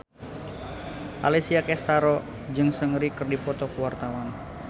Alessia Cestaro jeung Seungri keur dipoto ku wartawan